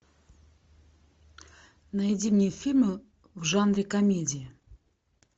найди мне фильмы в жанре комедия